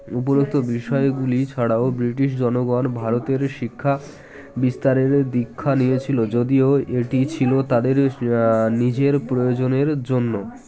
উপরোক্ত বিষয়গুলি ছাড়াও বৃটিশ জনগণ ভারতের শিক্ষা বিস্তারের দীক্ষা নিয়েছিল যদিও এটি ছিল তাদের আ নিজের প্রয়োজনের জন্য